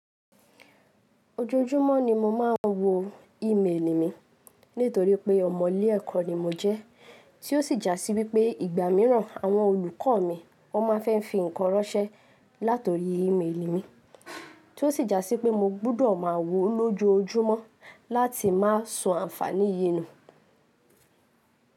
Ojoojúmọ́ ni mo máa ń wo ìmeèlì mi nítorí pé ọ̀mọ̀'lé ẹ̀kọ́ ni mo jẹ́, tí ó sì jásí wípé ìgbà mìíràn àwọn olùkọ́ mi wón máa n fẹ́ fi ǹkan ránṣẹ́ láti orí ìmeèlì mi, tí ó sì jásí pé mo gbúdọ̀ máa wo lójoojúmọ́ láti má so àǹfàní yii nu.